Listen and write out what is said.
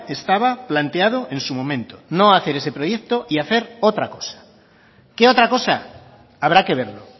estaba planteado en su momento no hacer ese proyecto y hacer otra cosa qué otra cosa habrá que verlo